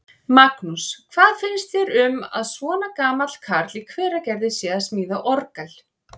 Magnús: Hvað finnst þér um að svona gamall karl í Hveragerði sé að smíða orgel?